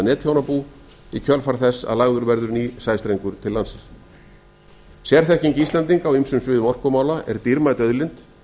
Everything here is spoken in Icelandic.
netþjónabú í kjölfar þess að lagður vegur nýr sæstrengur til landsins sérþekking íslendinga á ýmsum viðumorkumala er dýrmæt auðlind